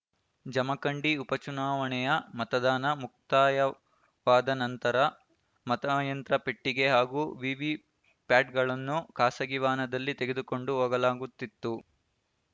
ಜಮಖಂಡಿ ಉಪಚುನಾವಣೆಯ ಮತದಾನ ಮುಕ್ತಾಯವಾದ ನಂತರ ಮತಯಂತ್ರ ಪೆಟ್ಟಿಗೆ ಹಾಗೂ ವಿವಿ ಪ್ಯಾಟ್‌ಗಳನ್ನು ಖಾಸಗಿ ವಾಹನದಲ್ಲಿ ತೆಗೆದುಕೊಂಡು ಹೋಗಲಾಗುತ್ತಿತ್ತು